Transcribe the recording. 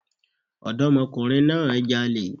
Ọ̀dọ́mọkùnrin náà jalè